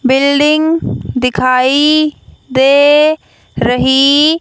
building दिखाई दे रही--